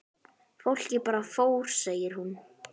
Fólkið bara fór segir hún.